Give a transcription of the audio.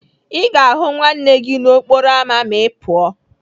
Ị ga-ahụ nwanne gị nwoke n'okporo ámá ma Ị pụọ.